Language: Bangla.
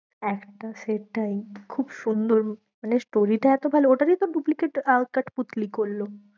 একটা সেটাই খুব সুন্দর মানে story টা এত ভালো, ওটা দিয়েই তো duplicate আহ কাঠপুতলি করলো।